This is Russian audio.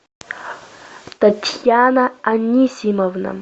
татьяна анисимовна